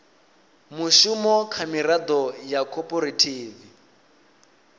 mushumo kha miraḓo ya khophorethivi